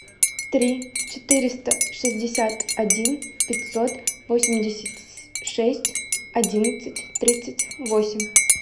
три четыреста шестьдесят один пятьсот восемьдесят шесть одиннадцать тридцать восемь